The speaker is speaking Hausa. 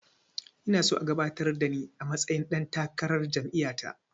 Ina so a gabatar da ni a matsayin ɗan takarar jam'iya ta